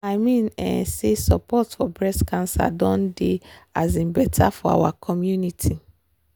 i mean um say support for breast cancer doh dey um better for our community.